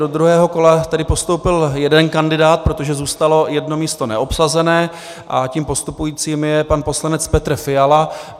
Do druhého kola tedy postoupil jeden kandidát, protože zůstalo jedno místo neobsazené, a tím postupujícím je pan poslanec Petr Fiala.